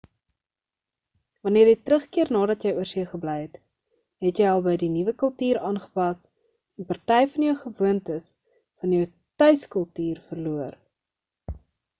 wanneer jy terugkeer nadat jy oorsee gebly het het jy al by die nuwe kultuur aangepas en party van jou gewoontes van jou tuiskultuur verloor